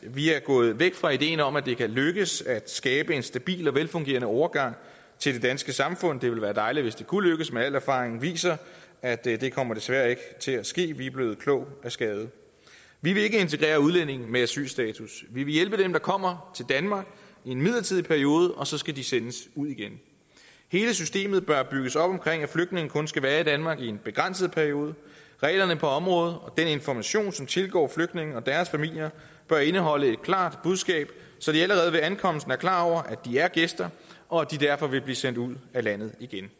vi er gået væk fra ideen om at det kan lykkes at skabe en stabil og velfungerende overgang til det danske samfund det ville være dejligt hvis det kunne lykkes men al erfaring viser at det desværre ikke kommer til at ske vi er blevet kloge af skade vi vil ikke integrere udlændinge med asylstatus vi vil hjælpe dem der kommer til danmark i en midlertidig periode og så skal de sendes ud igen hele systemet bør bygges op om at flygtningene kun skal være i danmark i en begrænset periode reglerne på området og den information som tilgår flygtningene og deres familier bør indeholde et klart budskab så de allerede ved ankomsten er klar over at de er gæster og at de derfor vil blive sendt ud af landet igen